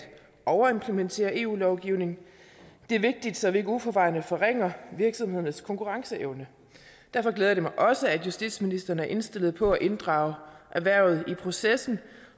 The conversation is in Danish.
overimplementere eu lovgivning det er vigtigt så vi ikke uforvarende forringer virksomhedernes konkurrenceevne derfor glæder det mig også at justitsministeren er indstillet på at inddrage erhvervet i processen